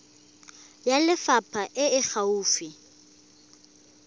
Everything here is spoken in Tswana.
ya lefapha e e gaufi